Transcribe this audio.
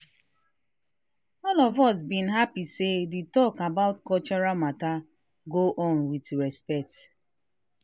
all of us been happy say the talk about cultural matter go on with respect.